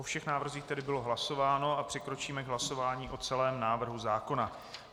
O všech návrzích tedy bylo hlasováno, přikročíme k hlasování o celém návrhu zákona.